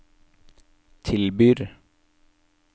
tilbyr